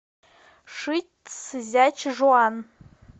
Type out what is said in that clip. шицзячжуан